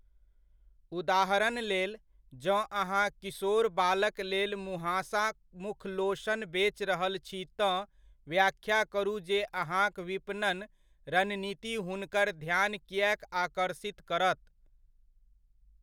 उदाहरण लेल, जँ अहाँ किशोर बालक लेल मुहाँसा मुखलोशन बेच रहल छी तँ व्याख्या करू जे अहाँक विपणन रणनीति हुनकर ध्यान किएक आकर्षित करत।